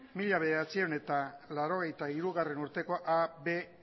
mila bederatziehun eta laurogeita hirugarrena urteko a b